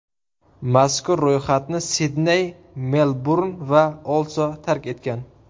Mazkur ro‘yxatni Sidney, Melburn va Oslo tark etgan.